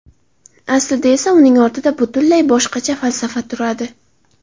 Aslida esa uning ortida butunlay boshqa falsafa turadi.